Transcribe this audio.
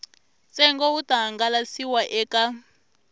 ntsengo wu ta hangalasiwa eka